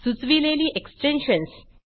सुचविलेली extensions